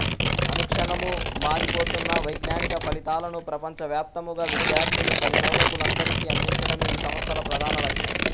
అనుక్షణము మారి పోతున్న వైజ్ఞానిక ఫలితాలను ప్రపంచ వ్యాప్తముగా విద్యార్థులు పరిశోధకులందరికి అందించడమే ఈ సంస్థల ప్రధాన లక్ష్యం